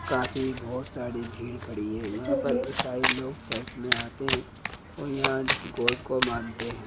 काफी बहोत सारी भीड़ खड़ी है यहाँ पर ईसाई लोग चर्च मे आते है और यहाँ गॉड को मानते है।